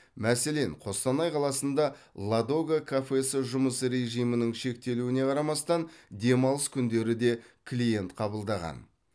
мәселен қостанай қаласында ладога кафесі жұмыс режімінің шектелуіне қарамастан демалыс күндері де клиент қабылдаған